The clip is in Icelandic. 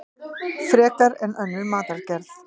Frekar en önnur matargerð.